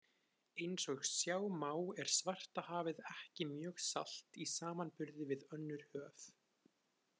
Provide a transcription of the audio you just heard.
Eins og sjá má er Svartahafið ekki mjög salt í samanburði við önnur höf.